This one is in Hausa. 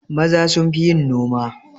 Maza sunfi yin noma